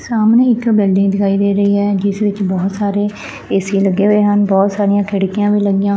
ਸਾਹਮਣੇ ਇੱਕ ਬਿਲਡਿੰਗ ਦਿਖਾਈ ਦੇ ਰਹੀ ਹੈ ਜਿਸ ਵਿੱਚ ਬਹੁਤ ਸਾਰੇ ਏਸੀ ਲੱਗੇ ਹੋਏ ਹਨ ਬਹੁਤ ਸਾਰੀਆਂ ਖਿੜਕੀਆਂ ਵੀ ਲੱਗੀਆਂ।